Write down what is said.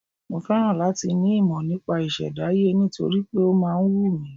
Mo féràn láti ní ìmọ̀ nípa ìṣẹ̀dáyé nítorí pé ó máa ń wù mí.